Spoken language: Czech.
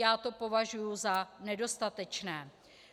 Já to považuji za nedostatečné.